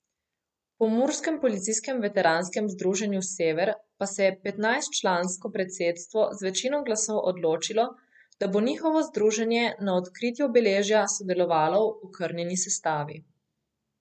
V pomurskem policijskem veteranskem združenju Sever pa se je petnajstčlansko predsedstvo z večino glasov odločilo, da bo njihovo združenje na odkritju obeležja sodelovalo v okrnjeni sestavi.